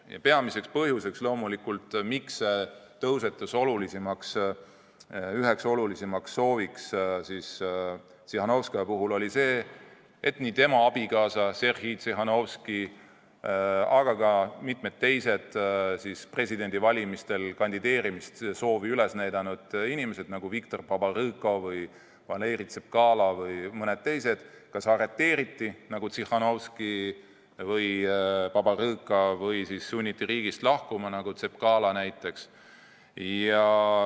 Ja peamine põhjus, miks sellest sai üks olulisimaid Tsihhanovskaja soove, oli muidugi see, et tema abikaasa Sergei Tsihhanovski ja ka mitmed teised presidendivalimistel kandideerimissoovi üles näidanud inimesed – Viktor Babarõka, Valeri Tsapkala ja mõned teised – kas arreteeriti nagu Tsihhanovski ja Babarõka või sunniti riigist lahkuma nagu Tsapkala näiteks.